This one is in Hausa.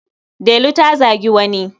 Delu ta zagi wani.